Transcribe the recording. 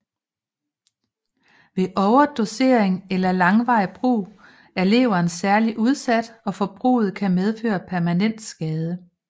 Ved overdosering eller langvarig brug er leveren særlig udsat og forbruget kan medføre permanent skade